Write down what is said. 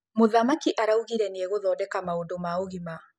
Mũthamakĩ araũgĩre nĩagũthodeka maũdũ ma ũgĩma .